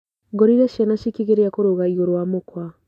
Ngorire ciana cikĩgeria kũrũga igũrũ wa mũkwa.